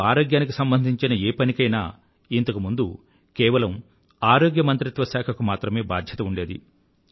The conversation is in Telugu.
దేశంలో ఆరోగ్యానికి సంబంధించిన ఏ పనికైనా ఇంతకు ముందు కేవలం ఆరోగ్య మంత్రిత్వ శాఖ కు మాత్రమే బాధ్యత ఉండేది